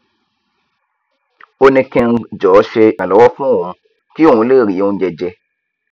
ó ní kí ng jọọ ṣe ìrànlọwọ fún òun kí òun lè rí oúnjẹ jẹ